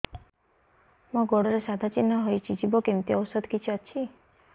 ମୋ ଗୁଡ଼ରେ ସାଧା ଚିହ୍ନ ହେଇଚି ଯିବ କେମିତି ଔଷଧ କିଛି ଅଛି